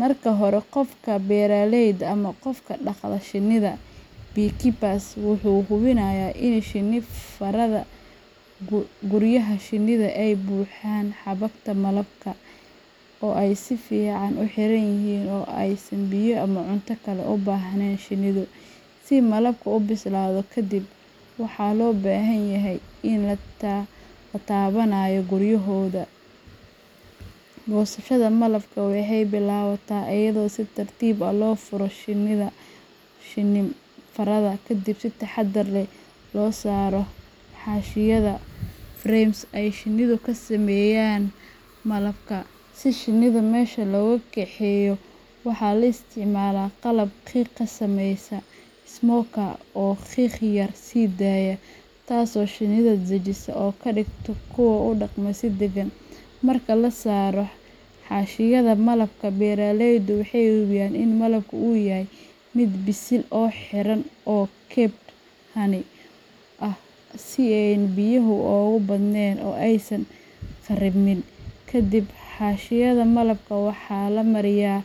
Marka hore, qofka beeralayda ah ama qofka dhaqda shinnida beekeeper wuxuu hubiyaa in shinni farada guryaha shinnida ay buuxiyeen xabagta malabka (honeycombs) oo ay si fiican u xiran yihiin oo aysan biyo ama cunto kale u baahnayn shinnidu, si malabku u bislaado. Kadib, waxaa loo baahan yahay in la xirto dhar gaar ah oo ilaaliya jirka, wejiga, iyo gacmaha, sababtoo ah shinnidu wey weerari kartaa marka la taabanayo guryahooda. Goosashada malabka waxay bilaabataa iyadoo si tartiib ah loo furo shinni-farada, kadibna si taxaddar leh looga saaro xaashiyaha frames ay shinnidu ka sameeysay malabka. Si shinnida meesha looga kaxeeyo, waxaa la isticmaalaa qalab qiiq sameeya smoker oo qiiq yar sii daaya, taasoo shinnida dejisa oo ka dhigta kuwo u dhaqma si degan. Marka la saaro xaashiyaha malabka, beeralaydu waxay hubiyaan in malabka uu yahay mid bisil oo xiran oo capped honey ah, si aanay biyuhu uga badnayn oo aysan kharribmin. Kadib, xaashiyaha malabka waxaa la mariyaa.